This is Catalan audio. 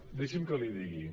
deixi’m que l’hi digui